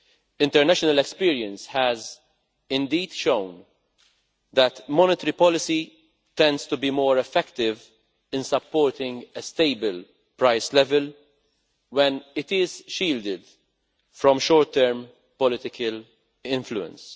International experience has indeed shown that monetary policy tends to be more effective in supporting a stable price level when it is shielded from short term political influence.